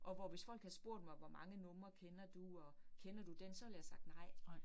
Og hvor hvis folk havde spurgt mig hvor mange numre kender du og, kender du den, så ville jeg have sagt nej